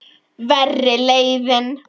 Verri leiðin.